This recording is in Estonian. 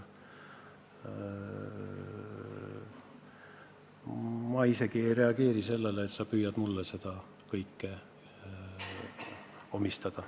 Ma isegi ei reageeri sellele, et sa püüad mulle seda kõike omistada.